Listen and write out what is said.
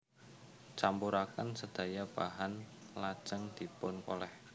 Campuraken sedaya bahan lajeng dipun kolèh